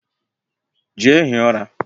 Jee hie ura